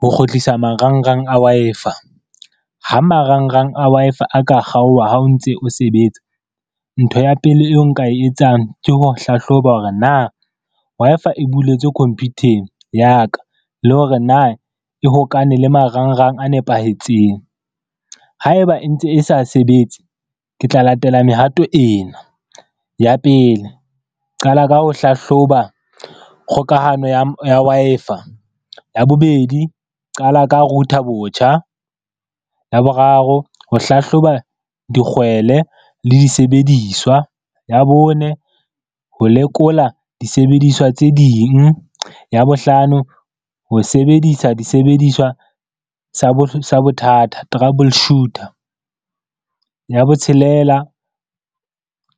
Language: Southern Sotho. Ho kgutlisa marangrang a Wi-Fi. Ha marangrang a Wi-Fi a ka kgaoha ha o ntse o sebetsa. Ntho ya pele eo nka e etsang ke ho hlahloba hore na Wi-Fi e buletswe computer-eng ya ka, le hore na e hokane le marangrang a nepahetseng. Haeba e ntse e sa sebetse ke tla latela mehato ena, ya pele qala ka ho hlahloba kgokahano ya Wi-Fi. Ya bobedi qala ka router botjha, ya boraro ho hlahloba dikgwele le disebediswa, ya bone ho lekola disebediswa tse ding, ya bohlano ho sebedisa disebediswa sa bothata trouble shooter, ya botshelela